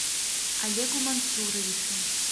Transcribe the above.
олегу мансуровичу